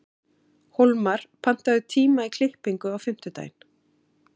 Hólmar, pantaðu tíma í klippingu á fimmtudaginn.